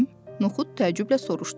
Noxud təəccüblə soruşdu.